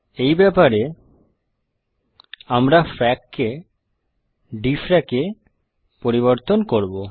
এই ব্যাপারে আমরা ফ্রাক কে dfrac-এ পরিবর্তন করব